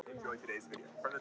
Einar er farinn.